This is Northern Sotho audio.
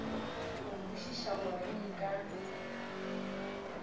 go kwešiša gore ke ka